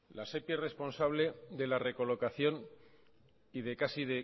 la sepi es responsable de la recolocación y de casi